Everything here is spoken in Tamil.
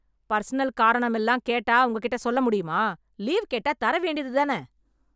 பர்சனல் காரணமெல்லாம் கேட்டா உங்க கிட்ட சொல்ல முடியுமா? லீவ் கேட்டா தர வேண்டியது தானே?